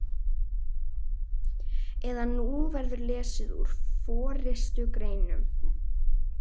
eða Nú verður lesið úr forystugreinum